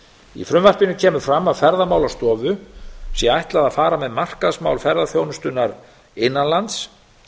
í frumvarpinu kemur fram að ferðamálastofu sé ætlað að fara með markaðsmál ferðaþjónustunnar innan lands